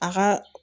A ka